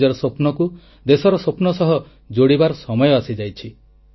ନିଜର ସ୍ୱପ୍ନକୁ ଦେଶର ସ୍ୱପ୍ନ ସହ ଯୋଡ଼ିବାର ସମୟ ଆସିଯାଇଛି